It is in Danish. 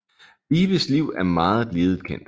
Vibes liv er meget lidet kendt